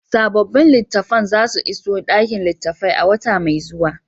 Sabobin littafan za su iso ɗakin littafai a wata mai zuwa.